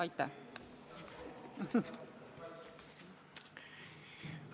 Aitäh!